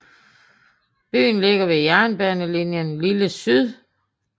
Byen ligger ved jernbanelinien Lille Syd